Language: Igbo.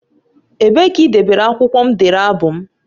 Ebee ka idebere akwụkwọ m dere abụ m?